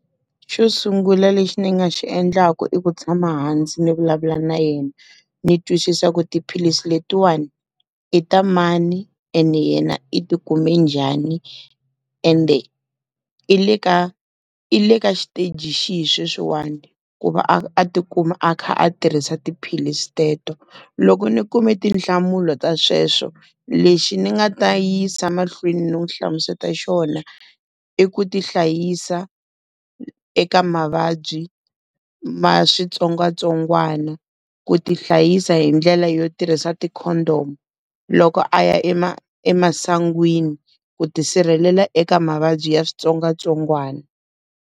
Xo sungula lexi ni nga xi endlaku i ku tshama hansi ni vulavula na yena. Ndzi twisisa ku tiphilisi letiwana, i ta mani ene yena i ti kume njhani? Ende i le ka i le ka shiteji lexi hi sweswiwani ku va a ti kuma a kha a tirhisa tiphilisi teto? Loko ni kumbe tinhlamulo ta sweswo, lexi ni nga ta yisa emahlweni n'wi hlamusela xona, i ku ti hlayisa eka mavabyi ma switsongwatsongwana. Ku ti hlayisa hi ndlela yo tirhisa ti-condom, loko a ya emasangwini ku tisirhelela eka mavabyi ya switsongwatsongwana.